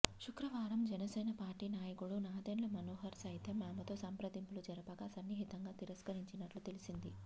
శుక్రవారం జనసేన పార్టీ నాయకుడు నాదెండ్ల మనోహర్ సైతం ఆమెతో సంప్రదింపులు జరపగా సున్నితంగా తిరస్కరించినట్లు తెలిసింది